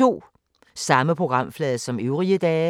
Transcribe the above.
Samme programflade som øvrige dage